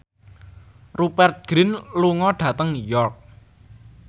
Rupert Grin lunga dhateng York